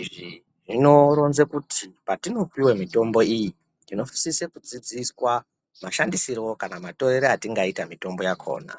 izvi zvinoronza kuti patinopuwa mitombo iyi tinosisa kudzidziswa mashandisire kana matorere atingaita mutombo yakona.